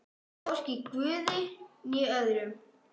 Hvorki guði né öðrum.